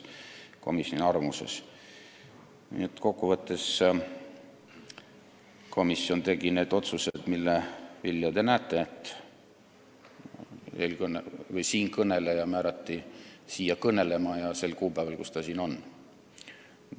Kokku võttes tegi komisjon otsused, mille vilju te näete: siia määrati kõnelema siinkõneleja sel kuupäeval, kui ta siin on.